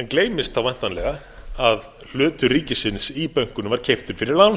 en gleymist þá væntanlega að hlutur ríkisins í bönkunum var keyptur fyrir lánsfé